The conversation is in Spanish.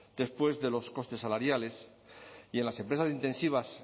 después de los costes salariales y en las empresas intensivas